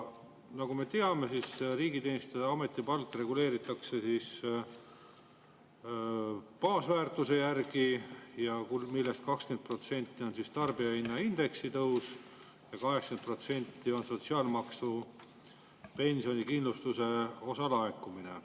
Nagu me teame, riigi ametipalka reguleeritakse, millest 20% tarbijahinnaindeksi tõusust ja 80% sotsiaalmaksu pensionikindlustuse osa laekumisest.